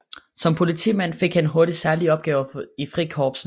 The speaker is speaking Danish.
Som politimand fik han hurtigt særlige opgaver i Frikorpset